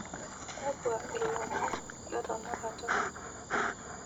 kakwa lomon letenakata